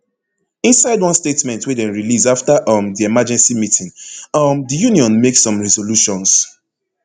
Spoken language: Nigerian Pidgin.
inside one statement wey dem release afta um di emergency meeting um di union make some resolutions